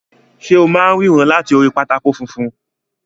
Ṣe o máa n ríran láti orí pátákó funfun?